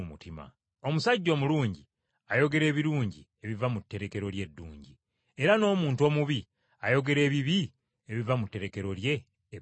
Omuntu omulungi afulumya ebirungi okuva mu tterekero lye eddungi, era n’omuntu omubi afulumya ebibi okuva mu tterekero lye ebbi.